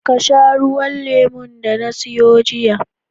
Ka sha ruwan lemon da na siyo jiya